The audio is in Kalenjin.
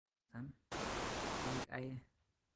Taitesawan beek aye